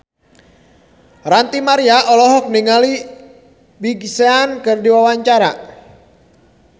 Ranty Maria olohok ningali Big Sean keur diwawancara